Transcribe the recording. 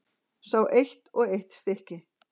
Sé eitt og eitt stykki.